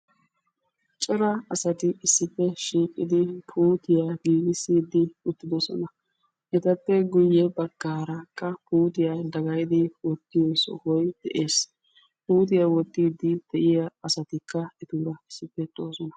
cora asati issippe shiiqidi puuttuiya giigisiidi beetoosona. etappe guye bagaarakka puuttiya dagayidi wottiyo sohoy de'ees. puuttiya wotiidi etuura de'iya asatikka de'oosona.